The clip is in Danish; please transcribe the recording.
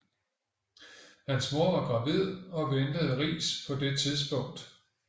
Hans mor var gravid og ventede Riis på det tidspunkt